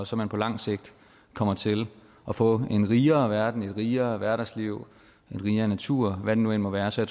så man på lang sigt kommer til at få en rigere verden et rigere hverdagsliv en rigere natur hvad det nu end må være så